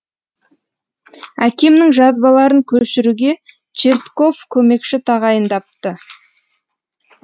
әкемнің жазбаларын көшіруге чертков көмекші тағайындапты